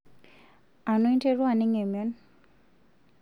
Anu interua aning' emion?